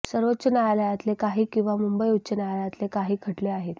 सर्वोच्च न्यायालयातले काही किंवा मुंबई उच्च न्यायालयातले काही खटले आहेत